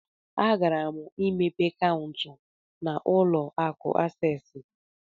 Agara m imepe Kaụntụ na ụlọ akụ Asees.